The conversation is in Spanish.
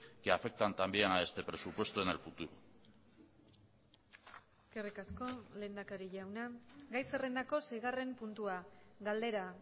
que afectan también a este presupuesto en el futuro eskerrik asko lehendakari jauna gai zerrendako seigarren puntua galdera